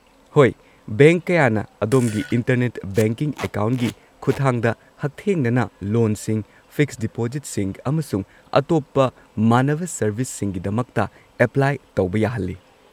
ꯍꯣꯏ, ꯕꯦꯡꯛ ꯀꯌꯥꯅ ꯑꯗꯣꯝꯒꯤ ꯏꯟꯇꯔꯅꯦꯠ ꯕꯦꯡꯀꯤꯡ ꯑꯦꯀꯥꯎꯟꯒꯤ ꯈꯨꯠꯊꯥꯡꯗ ꯍꯛꯊꯦꯡꯅꯅ ꯂꯣꯟꯁꯤꯡ, ꯐꯤꯛꯁ ꯗꯤꯄꯣꯖꯤꯠꯁꯤꯡ, ꯑꯃꯁꯨꯡ ꯑꯇꯣꯞꯄ ꯃꯥꯟꯅꯕ ꯁꯔꯕꯤꯁꯁꯤꯡꯒꯤꯗꯃꯛꯇ ꯑꯦꯄ꯭ꯂꯥꯏ ꯇꯧꯕ ꯌꯥꯍꯜꯂꯤ꯫